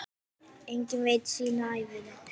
Enginn veit sína ævina.